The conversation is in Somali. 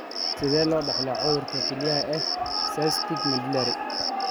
Sidee loo dhaxlaa cudurka kilyaha ee cystic medullary?